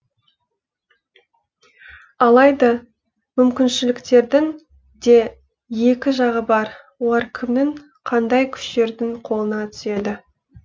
алайда мүмкіншіліктердің де екі жағы бар олар кімнің қандай күштердің қолына түседі